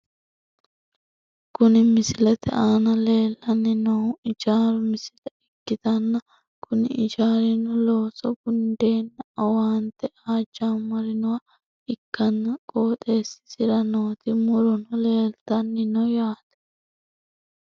Kuni misilete aana leellanni noohu ijaaru misile ikkitanna , kuni ijaarino looso gundeenna owaante aa jammarinoha ikkanna ,qooxeessisra nooti murono leeltanni no yaate.